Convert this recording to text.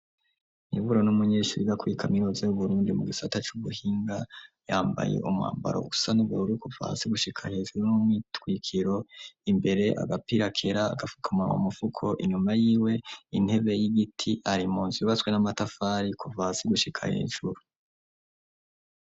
Iburo n'umunyeshuri izakwiye kaminoze y'uburundi mu gisata c'ubuhinga yambaye umwambaro gusa nuberure kuvasi gushika hejuru n'umitwikiro imbere agapirakera gafukamanwa mufuko inyuma y'iwe intebe y'igiti ari munzi yubatswe n'amatafari kuvasi gushika hejuru.